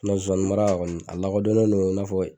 zozani mara kɔni a lakodɔnnen no i n'a fɔ